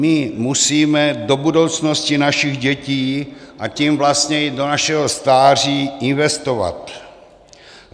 My musíme do budoucnosti našich dětí, a tím vlastně i do našeho stáří investovat.